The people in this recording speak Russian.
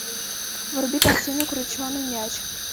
вруби картину крученый мяч